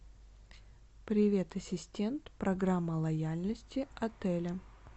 привет ассистент программа лояльности отеля